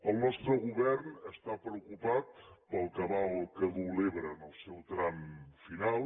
el nostre govern està preocupat pel cabal que duu l’ebre en el seu tram final